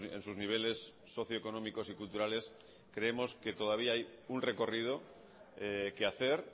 en sus niveles socio económicos y culturales creemos que todavía hay un recorrido que hacer